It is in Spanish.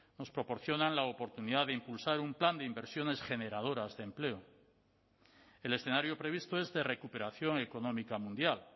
nos proporcionan la oportunidad de impulsar un plan de inversiones generadoras de empleo el escenario previsto es de recuperación económica mundial